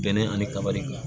Bɛnɛ ani kaba de don